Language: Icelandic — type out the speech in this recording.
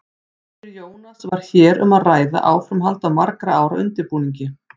Fyrir Jónas var hér um að ræða áframhald af margra ára undirbúningi.